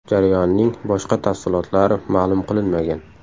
Jarayonning boshqa tafsilotlari ma’lum qilinmagan.